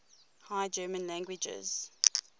high german languages